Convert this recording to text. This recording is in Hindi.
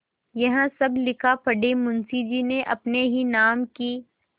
यह सब लिखापढ़ी मुंशीजी ने अपने ही नाम की क्